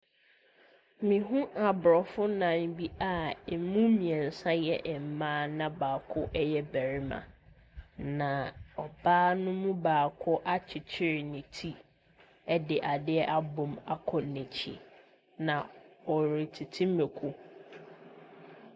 Mehunu aborɔfo nnaa bi a wɔn mu mmeɛnsa yɛ mma na baako yɛ barima, na ɔbaa no mu baako akyekyere ne ti de adeɛ abɔ mu akɔ n'akyi. Na ɔtete mako.